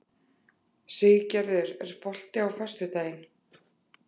Siggerður, er bolti á föstudaginn?